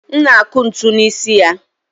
m na-akụ ntu n'isi ya